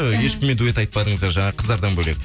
ешкіммен дуэт айтпадыңыздар жаңағы қыздардан бөлек